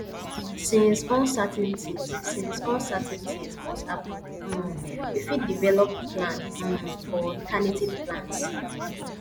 since uncertainties since uncertainties must happen um we fit develop plan um or alternative plans